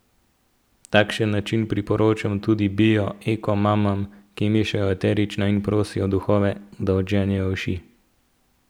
Takšen način priporočam tudi bio eko mamam, ki mešajo eterična in prosijo duhove, da odženejo uši.